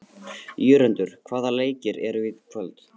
Jörundur, hvaða leikir eru í kvöld?